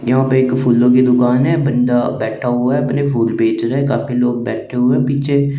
नियु पेज पर फूलो की दुकान है बंधा बैठा हुआ है अपने फूल बेच रहा है काफी लोग बैठे हुए है पीछे।